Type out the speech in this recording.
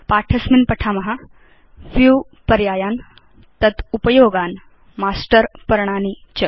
पाठे अस्मिन् पठाम View पर्यायान् तत् उपयोगान् मास्टर् पर्णानि च